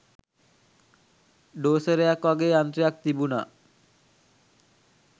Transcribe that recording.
ඩෝසරයක් වගෙ යන්ත්‍රයක් තිබුණා